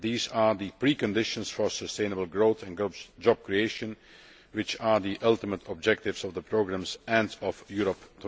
These are the preconditions for sustainable growth and job creation, which are the ultimate objectives of the programmes and of Europe